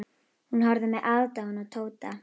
Hún horfði með aðdáun á Tóta.